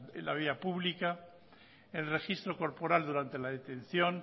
en la vía pública el registro corporal durante la detención